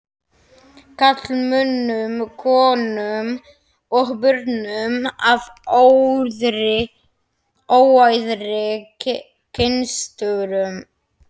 karlmönnum, konum og börnum af óæðri kynstofnum.